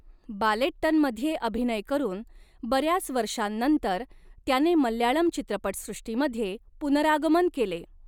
बालेट्टनमध्ये अभिनय करून बऱ्याच वर्षांनंतर त्याने मल्याळम चित्रपटसृष्टीमध्ये पुनरागमन केले.